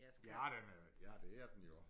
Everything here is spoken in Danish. Ja den er det er den jo